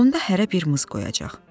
onda hərə bir mız qoyacaq.